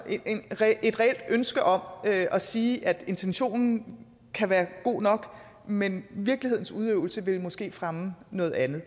et reelt ønske om at sige at intentionen kan være god nok men at virkelighedens udøvelse ville måske fremme noget andet